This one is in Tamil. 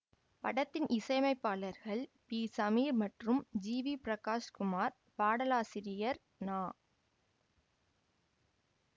படத்தின் இசையமைப்பாளர்கள் பி சமீர் மற்றும் ஜி வி பிரகாஷ் குமார் பாடலாசிரியர் நா